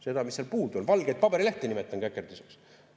Seda, mis seal puudu on, valgeid paberilehti nimetan käkerdiseks.